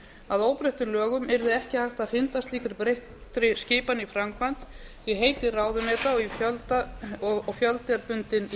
að óbreyttum lögum yrði ekki hægt að hrinda slíkri breyttri skipan í framkvæmd því heiti ráðuneyta og fjöldi er bundinn í